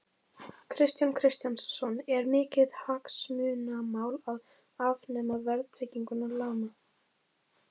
Kristján Kristjánsson: Er mikið hagsmunamál að afnema verðtryggingu lána?